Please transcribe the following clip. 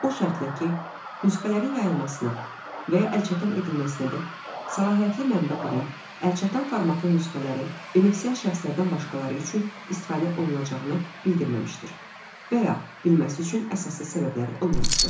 O şərtlə ki, nüsxələrin yayılmasına və ya əlçatan edilməsinədək səlahiyyətli mənbə qurum əlçatan formatlı nüsxələrin benefisiar şəxslərdən başqaları üçün istifadə olunacağını bildirməmişdir və ya bilməsi üçün əsaslı səbəbləri olmamışdır.